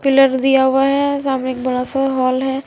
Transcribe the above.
Pillar दिया हुआ है सामने एक बड़ा सा होल है।